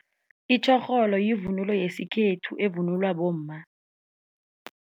Itjorholo yivunulo yesikhethu evunulwa bomma.